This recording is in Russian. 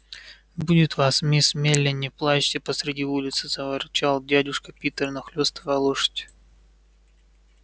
будет вас мисс мелли не плачьте посреди улицы заворчал дядюшка питер нахлёстывая лошадь